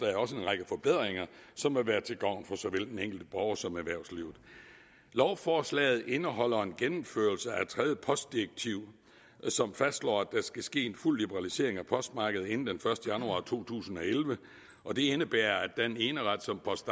det også en række forbedringer som vil være til gavn for såvel den enkelte borger som erhvervslivet lovforslaget indeholder en gennemførelse af tredje postdirektiv som fastslår at der skal ske en fuld liberalisering af postmarkedet inden den første januar to tusind og elleve og det indebærer at den eneret som post